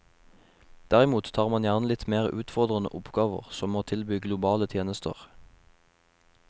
Derimot tar man gjerne litt mer utfordrende oppgaver, som å tilby globale tjenester.